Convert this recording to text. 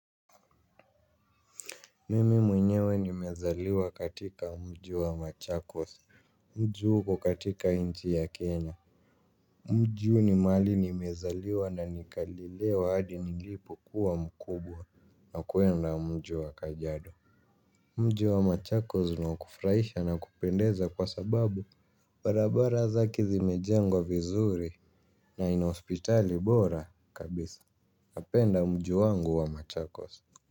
Mimi mwenyewe nimezaliwa katika mji wa machakos, mji huu uko katika nchi ya Kenya. Mji huu ni mahali nimezaliwa na nikalelewa hadi nilipo kuwa mkubwa na kuenda mji wa kajiado. Mji wa machakos ni wa kufurahisha na kupendeza kwa sababu barabara zake zimejengwa vizuri na inahospitali bora kabisa napenda mji wangu wa machakos. Kwa hivyo.